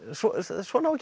svona á að gera